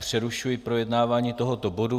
Přerušuji projednávání tohoto bodu.